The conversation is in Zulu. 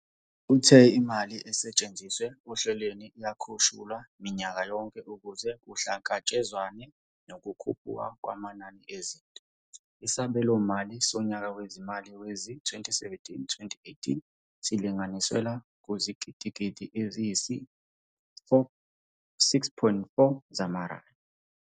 Uthe imali esetshenziswa ohlelweni iyakhushulwa minyaka yonke ukuze kuhlangatshezwane nokukhuphuka kwamanani ezinto, isabelomali sonyaka wezimali wezi-2017-18 silinganiselwa kuzigidigidi eziyisi-6.4 zamarandi.